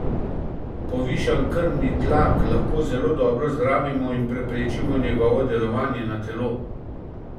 Povišan krvni tlak lahko zelo dobro zdravimo in preprečimo njegovo delovanje na telo.